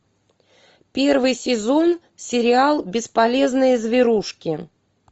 первый сезон сериал бесполезные зверушки